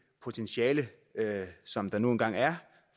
potentiale som der nu engang er